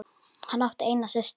Hann átti eina systur.